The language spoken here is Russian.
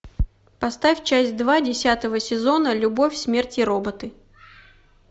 поставь часть два десятого сезона любовь смерть и роботы